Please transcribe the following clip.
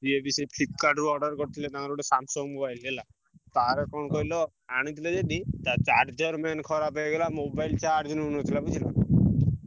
ସିଏ ବି ସେଇ Flipkart ରୁ order କରିଥିଲେ ତାଙ୍କର ଗୋଟେ Samsung mobile ଟେ ହେଲା, ତାର କଣ କହିଲ? ଆଣିଥିଲେ ଯଦି ତା charger main ଖରାପ ହେଇଗଲା mobile charge ନଉନଥିଲା ବୁଝିଲ?